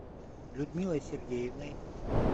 людмилой сергеевной